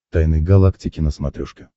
тайны галактики на смотрешке